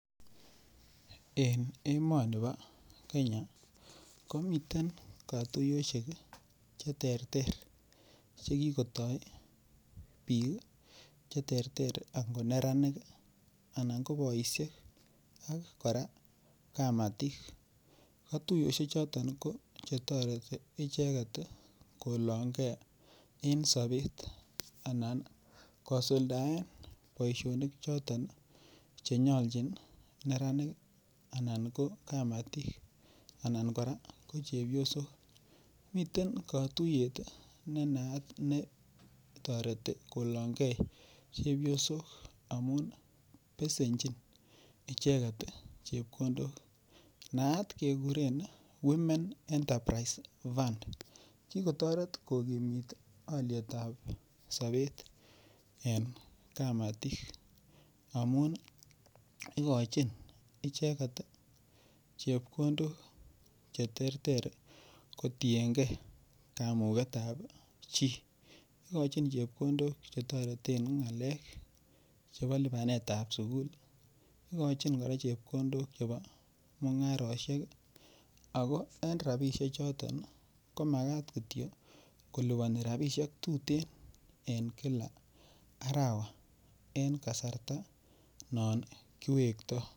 En emoni bo Kenya komiten katuyoshek cheterter chekikotoi biik cheterter akot neranik anan ko boishek ak kora kamatik katuiyoshe choton ko chetoreti icheget kolongei en sobet anan kosuldaen boishonik choton chenyoljin neranik anan kamatik anan kora ko chepyosok miten katuyet nenaat netoreti kolongei chepyosok amun besenjin icheget chepkondok naat kekuren women enterprise fund kikotoret kokimit olietab sobet en kamatik amun ikochin icheget chepkondok cheterter kotiengei kamuketab chi ikochin chepkondok chetoreten ng'alek chebo lipanetab sukul ikochin kora chepkondok chebo mung'aroshek ako en robishe choton komakat kityo kolipani rabishek tutin en kila arawa en kasarta non kiwektoi